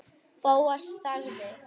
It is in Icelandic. Bóas þagði.